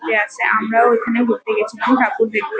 ঘুরতে আসে। আমরাও এখানে ঘুরতে গেছিলাম ঠাকুর দেখ--